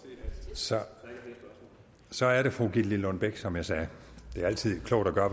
så så er det fru gitte lillelund bech som jeg sagde det er altid klogt at gøre